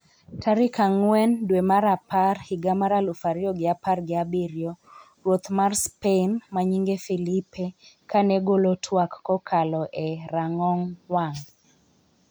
tarik ang'wen dwe mar apar higa mar aluf ariyo gi apar gi abiriyo Ruoth mar Spain manyinge Felipe kane golo twak kokalo e rang'ong wang